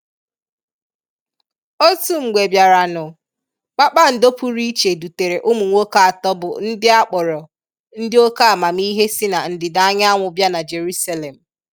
Otu mgbe bịaranụ, kpakpando pụrụ iche dutere ụmụ nwoke atọ bụ ndị a kpọrọ ndị oké amamihe si na ndịda anyanwụ bịa na Jerusalem.